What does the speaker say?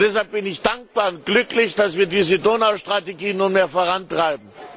Deshalb bin ich dankbar und glücklich, dass wir diese Donaustrategie nunmehr vorantreiben.